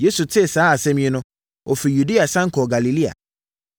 Yesu tee saa asɛm yi no, ɔfirii Yudea sane kɔɔ Galilea.